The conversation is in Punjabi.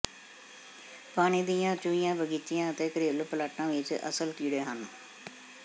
ਪਾਣੀ ਦੀਆਂ ਚੂਹੀਆਂ ਬਗੀਚਿਆਂ ਅਤੇ ਘਰੇਲੂ ਪਲਾਟਾਂ ਵਿਚ ਅਸਲ ਕੀੜੇ ਹਨ